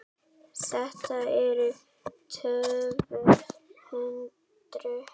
Þetta eru tvö hundruð metrar.